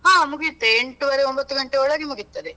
ಹಾ ಮುಗಿಯುತ್ತೆ, ಎಂಟೂವರೆ ಒಂಬತ್ತು ಗಂಟೆ ಒಳಗೆ ಮುಗಿಯುತ್ತದೆ.